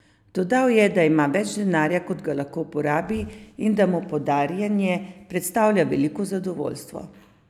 Dodal je, da ima več denarja, kot ga lahko porabi, in da mu podarjanje predstavlja veliko zadovoljstvo.